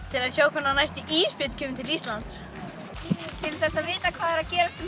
til að sjá hvenær næsti ísbjörn kemur til Íslands til þess að vita hvað er að gerast um